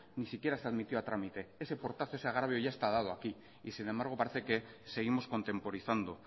ni siquiera se admitió a trámite ese portazo ese agravio y ya está dado aquí y sin embargo parece que seguimos contemporizando